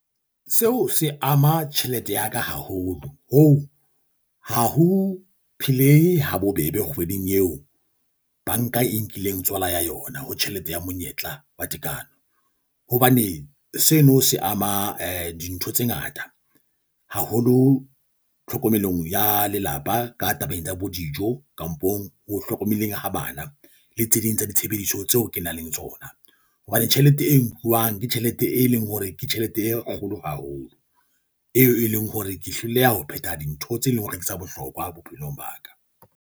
Seo se ama tjhelete ya ka haholo ho ho ho phele ha bobebe kgweding eo banka e nkileng tswala ya yona ho tjhelete ya monyetla wa tekano. Hobane seno se ama eh dintho tse ngata. Haholo tlhokomelong ya lelapa ka tabeng tsa bo dijo kampong ho hlokomeleng ha bana le tse ding tsa ditshebediso tseo ke nang le tsona. Hobane tjhelete e nkuwang ke tjhelete e leng hore ke tjhelete e kgolo haholo, eo e leng hore ke hloleha ho phetha dintho tse leng hore ke tsa bohlokwa bophelong ba ka.